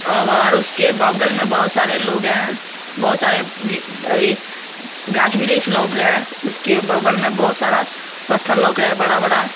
उसके बगल में बहुत सारे लोग हैं बहुत सारे अह ये गाछ वृक्ष लोग है उसके बगल में बहुत सारा पत्थर लोक रहा है बड़ा बड़ा।